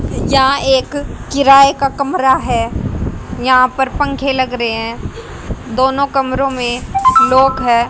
यहां एक किराए का कमरा है यहां पर पंखे लग रहे हैं दोनों कमरों में लोग है।